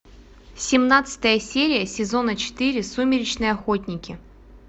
семнадцатая серия сезона четыре сумеречные охотники